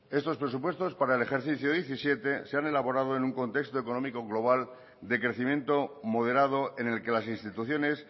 estos presupuestos para el ejercicio dos mil diecisiete se han elaborado en un contexto económico global de crecimiento moderado en el que las instituciones